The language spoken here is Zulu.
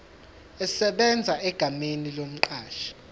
esebenza egameni lomqashi